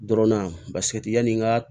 Dɔrɔnna paseke yani n ka